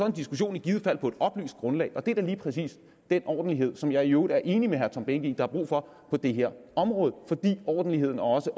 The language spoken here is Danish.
en diskussion på et oplyst grundlag og det er da lige præcis den ordentlighed som jeg i øvrigt er enig med herre tom behnke i der er brug for på det her område fordi ordentligheden og også